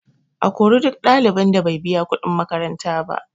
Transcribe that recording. A kori duk ɗalibin da bai biya kuɗin makaranta ba